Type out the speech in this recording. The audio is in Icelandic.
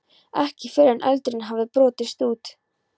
Ekki fyrr en eldurinn hafði brotist út.